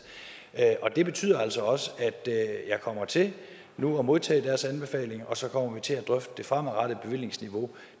det betyder altså også at jeg kommer til nu at modtage deres anbefalinger og så kommer vi til at drøfte det fremadrettede bevillingsniveau